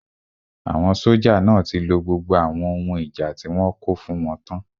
Àwọn sójà náà tí lo gbogbo àwọn ohun ìjà tí wọ́n kó fún wọn tán